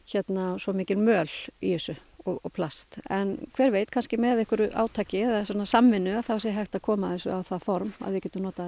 svo mikil möl í þessu og plast en hver veit kannski með átak eða samvinnu þá sé hægt að koma þessu á það form að við getum notað